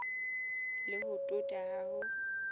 le ho tota ha ho